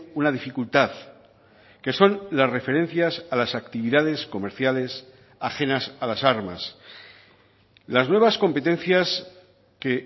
una dificultad que son las referencias a las actividades comerciales ajenas a las armas las nuevas competencias que